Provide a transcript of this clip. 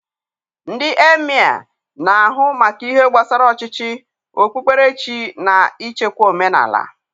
Ndị emịee na-ahụ maka ihe gbasara ọchịchị, okpukperechi, na ichekwa omenala.